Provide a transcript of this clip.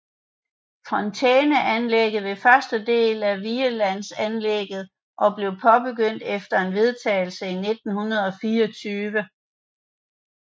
Fontæneanlægget var første del af Vigelandsanlegget og blev påbegyndt efter en vedtagelse i 1924